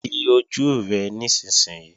Di ojú rẹ nísinsìnyí!